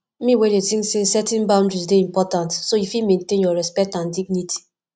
me dey think say setting boundaries dey important so you fit maintain your respect and dignity